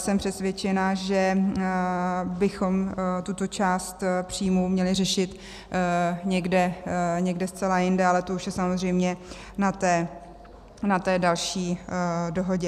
Jsem přesvědčena, že bychom tuto část příjmů měli řešit někde zcela jinde, ale to už je samozřejmě na té další dohodě.